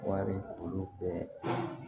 Wari olu bɛɛ